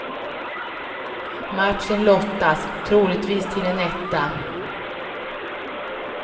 Matchen lottas, troligtvis till en etta.